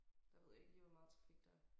Der ved jeg ikke lige hvor meget trafik der er